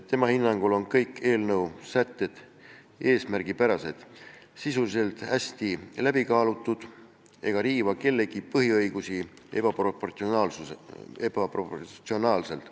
Tema hinnangul on kõik eelnõu sätted eesmärgipärased, sisuliselt hästi läbi kaalutud ega riiva kellegi põhiõigusi ebaproportsionaalselt.